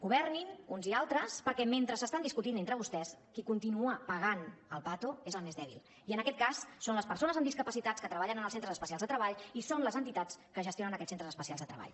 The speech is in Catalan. governin uns i altres perquè mentre s’estan discutint entre vostès qui continua pagant el patocitat que treballen en els centres especials de treball i són les entitats que gestionen aquests centres especials de treball